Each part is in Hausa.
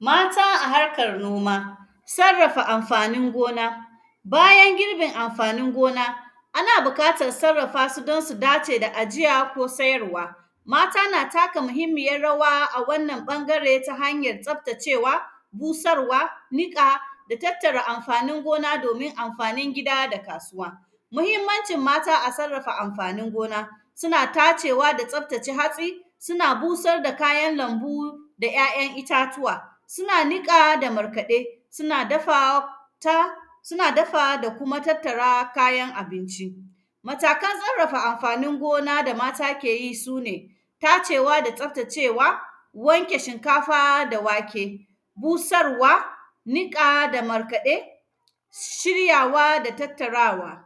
Mata a harkar noma, sarrafa amfanin gona. Bayan girbin amfanin gona, ana bukatar sarrafa su don su dace da ajiya ko sayarwa. Mata na taka muhimmiyar rawa a wannan ƃangare ta hanyar tsaftacewa, busarwa, niƙa, da tattara amfanin gona domin amfanin gida da kasuwa. Muhimmancin mata a sarrafa amfanin gona, sina tacewa da tsaftace hatsi, sina busar da kayan lambu da ‘ya’yan itatuwa, sina niƙa da markaɗe, sina dafa ta, sina dafa da kuma tattara kayan abinci. Matakan tsarrafa amfanin gona da mata ke yi, su ne tacewa da tsaftacewa, wanke shinkafa da wake, busarwa, niƙa da markaɗe, shiryawa da tattarawa.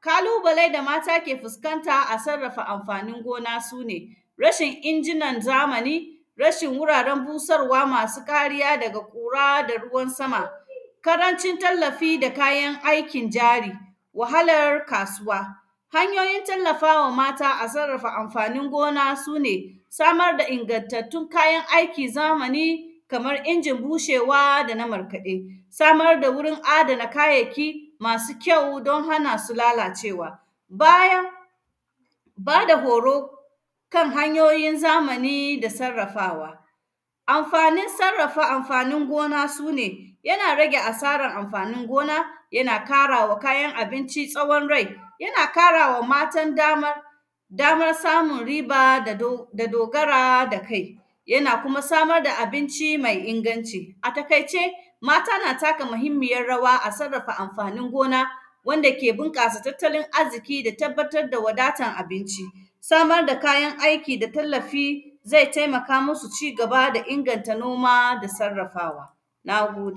Kalubale da mata ke fuskanta a sarrafa amfanin gona, su ne rashin injinan zamani, rashin wuraren busarwa masu ƙariya daga ƙura da ruwan sama, karancin tallafi da kayan aikin jari, wahalar kasuwa. Hanyoyin tallafa wa mata a sarrafa amfanin gona, su ne samar da ingantattun kayan aiki zamani, kamar injin bushewa da na markaɗe. Samar da wurin adana kayaki masu kyau, don hana su lalacewa. Bayan, ba da horo kan hanyoyin zamani da sarrafawa, amfanin sarrafa amfanin gona su ne, yana rage asaran amfanin gona, yana kara wa kayan abinci tsawon rai, yana kara wa matan dama, damar samun riba da dog; da dogara da kai, yana kuma samar da abinci mai inganci. A takaice, mata na taka mahimmiyar rawa a sarrafa amfanin gona, wanda ke binƙasa tattalin azziki da tabbatad da wadatan abinci, samar da kayan aiki da tallafi, zai temaka musu ci gaba da inganta noma da sarrafawa, na gode.